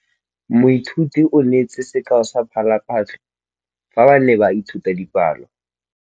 Moithuti o neetse sekaô sa palophatlo fa ba ne ba ithuta dipalo.